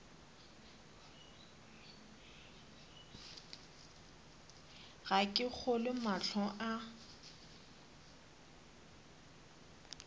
ga ke kgolwe mahlo a